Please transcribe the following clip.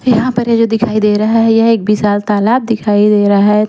यहाँ पर ये जो दिखाई दे रहा है यह एक विशाल तालाब दिखाई दे रहा है।